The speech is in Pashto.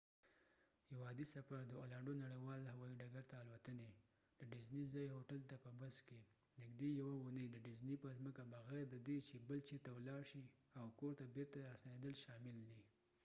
یو عادي سفر د اولانډو نړیوال هوایي ډکرته الوتنی.ډ ډزنی ځایې هوټل ته په بس کې ، نږدې یوه اوونی د ډزنی په ځمکه بغیر ددې چې بل چېرته ولاړ شي ، اوکور ته بیرته راستنیدل شامل دي